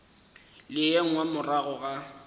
le ye nngwe morago ga